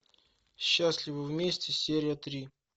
счастливы вместе серия три